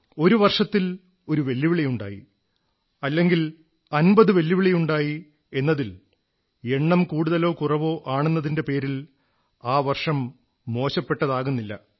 ഒരു വർഷത്തിൽ ഒരു വെല്ലുവിളി ഉണ്ടായി അല്ലെങ്കിൽ അമ്പത് വെല്ലുവിളികളുണ്ടായി എന്നതിൽ എണ്ണം കൂടുതലോ കുറവോ ആണെന്നതിന്റെ പേരിൽ ആ വർഷം മോശപ്പെട്ടതാകുന്നില്ല